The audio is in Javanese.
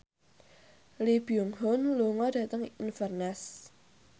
Lee Byung Hun lunga dhateng Inverness